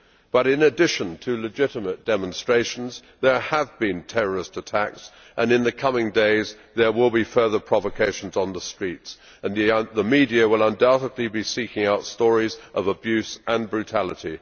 But in addition to legitimate demonstrations there have been terrorist attacks and in the coming days there will be further provocation on the streets and the media will undoubtedly be seeking out stories of abuse and brutality.